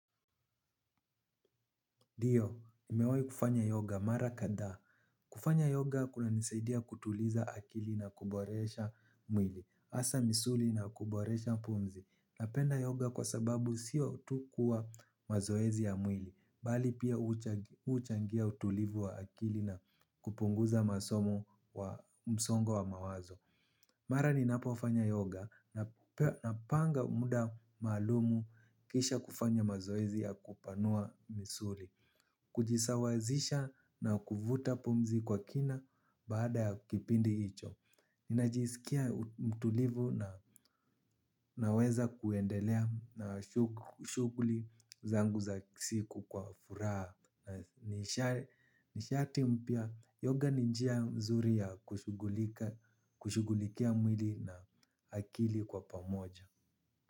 Ndio, nimewahi kufanya yoga mara kadhaa. Kufanya yoga kunanisaidia kutuliza akili na kuboresha mwili. Hasa misuli na kuboresha pumzi. Napenda yoga kwa sababu sio tu kuwa mazoezi ya mwili. Bali pia huchangia utulivu wa akili na kupunguza msongo wa mawazo. Mara ninapofanya yoga na panga muda maalumu kisha kufanya mazoezi ya kupanua misuli. Kujisawazisha na kuvuta pumzi kwa kina baada ya kipindi hicho. Ninajisikia mtulivu na naweza kuendelea na shughuli zangu za siku kwa furaha. Nishati mpya yoga ni njia nzuri ya kushugulikia mwili na akili kwa pamoja.